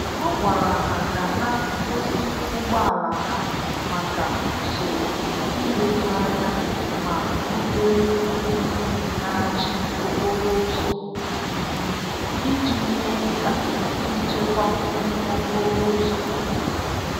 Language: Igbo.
Ọ gwara ha ka ha gosi ụgbọala ha maka usoro ileru anya ma rubere iwu na-achị okporo ụzọ isi iji mee ka nchekwa dị n' okporo ụzọ.